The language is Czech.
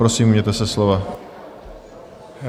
Prosím, ujměte se slova.